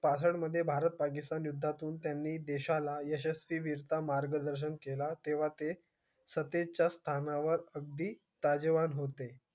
भारत पाकिस्तान युद्ध त्यानी देशाला यशस्वी देशच मार्ग दर्शन केला, ते सतेचार खाना वर ताजेवन होते